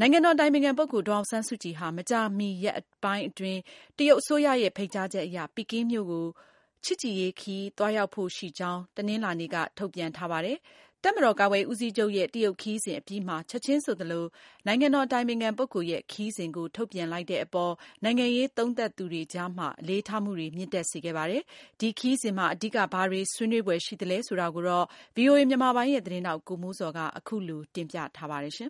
နိုင်ငံတော်အတိုင်ပင်ခံ ပုဂ္ဂိုလ်ဒေါ်အောင်ဆန်းစုကြည်ဟာ မကြာမီရက်အတွင်းမှာ တရုတ်အစိုးရရဲ့ ဖိတ်ကြားချက်အရ ပီကင်းမြို့ကို ချစ်ကြည်ရေးခရီး သွားရောက်ဖို့ ရှိကြောင်း တနင်္လာနေ့က ထုတ်ပြန်ပါတယ်။ တပ်မတော်ကာကွယ်ရေးဦးစီးချုပ်ရဲ့ တရုတ်ခရီးစဉ်အပြီးမှာ ချက်ချင်းဆိုသလို နိုင်ငံတော်အတိုင်ပင်ခံပုဂ္ဂိုလ် ရဲ့ ခရီးစဉ်ကို ထုတ်ပြန်လိုက်တဲ့အပေါ် နိုင်ငံရေးသုံးသပ်သူတွေအကြားမှာ အလေးထားမှုတွေ မြင့်တက်စေခဲ့ပါတယ်။ ဒီခရီးစဉ်မှာ အဓိက ဘာတွေ ဆွေးနွေးဖွယ်ရှိသလဲဆိုတာကို ဗွီအိုအေမြန်မာပိုင်းရဲ့သတင်းထောက် ကိုမိုးဇော်က အခုလို တင်ပြထားပါတယ်။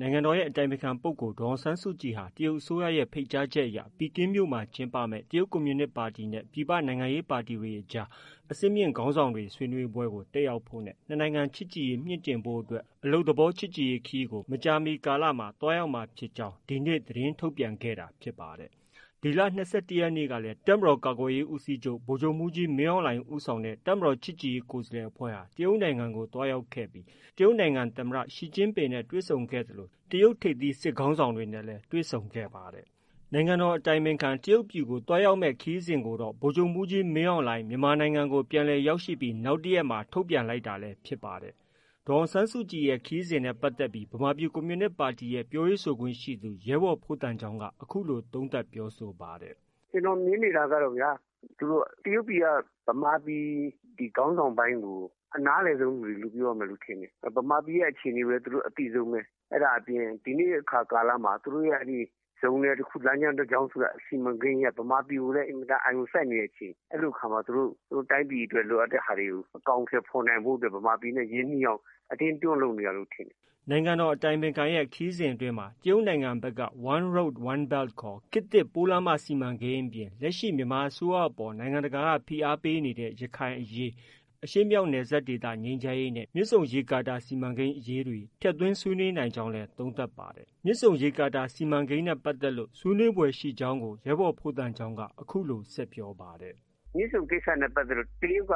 နိုင်ငံတော်အတိုင်ပင်ခံ ပုဂ္ဂိုလ်ဒေါ်အောင်ဆန်းစုကြည်ဟာ တရုတ်အစိုးရဲ့ ဖိတ်ကြားချက်အရ ပီကင်းမြို့မှာ ကျင်းပမယ့် တရုတ်ကွန်မြူနစ်ပါတီနဲ့ ပြည်ပနိုင်ငံရေးပါတီများအကြား အဆင့်မြင့်ခေါင်းဆောင်များဆွေးနွေးပွဲကို တက်ရောက်ဖို့နဲ့ နှစ်နိုင်ငံချစ်ကြည့်ရေးမြှင့်တင်ဖို့အတွက် အလုပ်သဘောချစ်ကြည်ရေးခရီးကို မကြာမီကာလမှာ သွားရောက်မှာ ဖြစ်ကြောင်း ဒီနေ့သတင်းထုတ်ပြန်ခဲ့တာဖြစ်ပါတယ်။ ဒီလ ၂၁ရက်နေ့ကလည်း တပ်မတော်ကာကွယ်ရေးဦးစီးချုပ် ဗိုလ်ချုပ်မှုးကြီးမင်းအောင်လှိုင်ဦးဆောင်တဲ့ တပ်မတေ်ာချစ်ကြည်ရေးကိုယ်စားလှယ်အဖွဲ့ဟာ တရုတ်နိုင်ငံကို သွားရောက်ခဲ့ပြီး တရုတ်ပြည်သူ့သမ္မတ Xi Jinping နဲ့ တွေ့ဆုံဆွေးနွေးခဲ့သလို တရုတ်ထိပ်သီးစစ်ခေါင်းဆောင်တွေနဲ့လည်း တွေ့ဆုံခဲ့ပါတယ်။ နိုင်ငံတော်အတိုင်ပင်ခံ တရုတ်ပြည်ကို သွားရောက်မယ့်ခရီးစဉ်ကိုတော့ ဗိုလ်ချုပ်မှုးကြီးမင်းအောင်လှိုင် မြန်မာနိုင်ငံကို ပြန်လည်ရောက်ရှိပြီး နောက်တရက်မှာ ထုတ်ပြန်လိုက်တာလည်း ဖြစ်ပါတယ်။ ဒေါ်အောင်ဆန်းစုကြည်ရဲ့ ခရီးစဉ်နဲ့ပတ်သက်ပြီး ဗမာပြည်ကွန်မြူနစ်ပါတီရဲ့ ပြောရေးဆိုခွင့်ရှိသူ ရဲဘော်ဖိုးသံချောင်းက အခုလို သုံးသပ်ပြောဆိုပါတယ်။ “ ကျနော်မြင်နေတာကတော့ တရုတ်ပြည်က ဗမာပြည် ခေါင်းဆောင်ပိုင်းကို အနားလည်ဆုံးလူတွေလို့ ပြောရမယ်ထင်တယ်။ ဗမာပြည်ရဲ့ အခြေအနေကိုလည်း သူတို့ အသိဆုံးပဲ။ အဲဒါအပြင် ဒီနေ့ အခါကာလမှာ သူတို့ရဲ့ ဇုံနယ်တခု၊ လမ်းကြောင်းတကြောင်းဆိုတဲ့ စီမံကိန်းကြီးက ဗမာပြည်ကိုလည်း အင်မတန် အာရုံစိုက်နေတဲ့အချိန် အဲဒီအခါမှာ သူတို့ တိုင်းပြည်အတွက် လိုအပ်တဲ့ဟာတွေကို အကောင်အထည် ဖော်နိုင်ဖို့အတွက် ဗမာပြည်နဲ့ ရင်းနှီးအောင် အတင်းတွန်းလုပ်နေတာလို့ ထင်တယ်။” နိုင်ငံတော်အတိုင်ပင်ခံရဲ့ခရီးစဉ်အတွင်းမှာ တရုတ်နိုင်ငံဖက်က One road, one belt ခေါ် ခေတ်သစ်ပိုးလမ်းမစီမံကိန်းအပြင် လက်ရှိ မြန်မာအစိုးရအပေါ် နိုင်ငံတကာက ဖိအားပေးနေတဲ့ ရခိုင်အရေး၊ အရှေ့မြောက်နယ်စပ် ငြိမ်းချမ်းရေးနဲ့ မြစ်ဆုံရေကာတာအရေးတွေ ထည့်သွင်းနိုင်ကြောင်း သုံးသပ်ပါတယ်။ ဒါအပြင် မြစ်ဆုံရေကာတာစီမံကိန်းနဲ့ပတ်သက်လို့လည်း ဆွေးနွေးဖွယ်ရှိကြောင်း ရဲဘော်ဖိုးသံချောင်းက ဆက် ပြောပါတယ်။ “ မြစ်ဆုံကိစ္စနဲ့ပတ်သက်လို့ တရုတ်က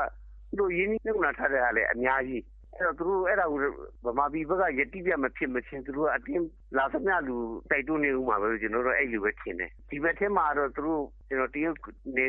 သူတို့ ရင်းနှီးမြုပ်နှံထားတာလည်း အများကြီး။ အဲတော့ အဲဒါကို ဗမာပြည်ဖက်က ယတိပြတ်မဖြစ်မချင်း သူတို့က လာသမျှလူကို တိုက်တွန်းနေဦးမှာပဲလို့ ကျနော်တော့ အဲလိုပဲ ထင်တယ်။ ဒီဖက်ထဲမှာတော့ တရုတ်နယ်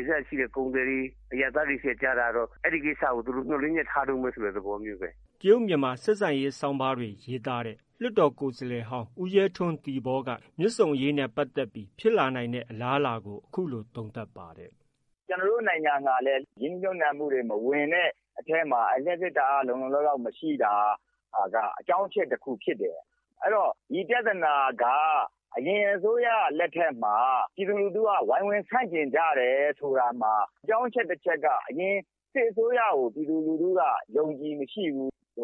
စပ်ရှိတဲ့ ကုန်သည်တွေ၊ အရပ်သားတွေဆီက ကြားတာကတော့ အဲဒီကိစ္စကို သူတို့ မျှော်လင့်ချက် ထားတုံးပဲ ဆိုတဲ့ သဘောမျိုးပဲ။ ” တရုတ်-မြန်မာဆက်ဆံရေးဆောင်းပါးရေးသားတဲ့ လွှတ်တော်ကိုယ်စားလှယ်ဟောင်း ဦးရဲထွန်း(သီပေါ)က မြစ်ဆုံအရေးနဲ့ပတ်သက်ပြီး ဖြစ်လာနိုင်တဲ့အလားအလာကို အခုလို သုံးသပ်ပါတယ်။ “ကျနော်တို့ နိုင်ငံကလည်း ရင်းနှီးမြုပ်နှံမှုတွေ မဝင်တဲ့အထဲမှာ လျှပ်စစ်ဓါတ်အားမလုံလောက်တာက အကြောင်းအချက်တခုဖြစ်တယ်။ အဲတော့ ဒီပြဿနာက အရင်အစိုးရလက်ထက်မှာ ပြည်သူလူထုက ဝိုင်းဝန်းဆန့်ကျင်ကြတယ်ဆိုတာမှာ အကြောင်းအချက် တချက်က အရင် စစ်အစိုးရကို ပြည်သူလူထုက အယုံအကြည်မရှိဘူး။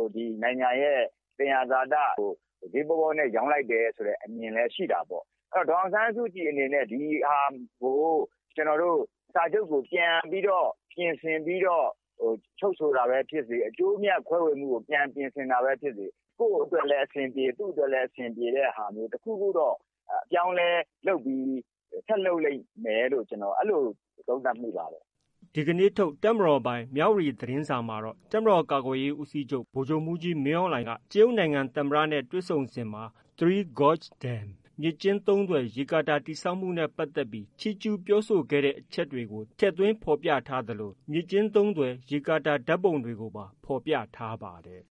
နိုင်ငံရဲ့ သံယံဇာတကို ဈေးပေါပေါနဲ့ ရောင်းလိုက်တယ်ဆိုတဲ့ အမြင်လည်း ရှိတာပေါ့။ အဲတော့ ဒေါ်အောင်ဆန်းစုကြည်အနေနဲ့ ဒီဟာကို စာချုပ်ကို ပြန်ပြီးတော့ ပြင်ဆင်ပြီးတော့ ချုပ်ဆိုတာပဲ ဖြစ်စေ၊ အကျိုးအမြတ်ခွဲဝေမှုကို ပြန်ပြင်ဆင်တာပဲဖြစ်စေ၊ ကိုယ့်အတွက်လည်း အဆင်ပြေ၊ သူ့အတွက်လည်း အဆင်ပြေဆိုတဲ့ဟာမျိုး တခုခုတော့ အပြောင်းအလဲလုပ်ပြီး ဆက်လုပ်လိမ့်မယ်လို့ ကျနော်အဲလို သုံးသပ်မိပါတယ်။ ” ဒီနေ့ထုတ် တပ်မတော်ပိုင် မြဝတီသတင်းစာမှာ တပ်မတော်ကာကွယ်ရေးဦးစီးချုပ် ဗိုလ်ချုပ်မှုးကြီးမင်းအောင်လှိုင် ကတရုတ်သမ္မတနဲ့ တွေ့ဆုံစဉ်မှာ Three gorges dam မြစ်ကျဉ်းသုံးသွယ်ရေကာတာ တည်ဆောက်မှုပတ်သက်ပြီး ချီးကျူးပြောဆိုခဲ့တဲ့ အချက်တွေကို ထည့်သွင်းဖော်ပြထားသလို မြစ်ကျဉ်းသုံးသွယ်ရေကာတာ ဓါတ်ပုံတွေပါ ဖော်ပြပါတယ်